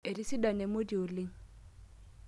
Etisidana emoti oleng'.